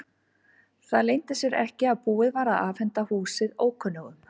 Það leyndi sér ekki að búið var að afhenda húsið ókunnugum.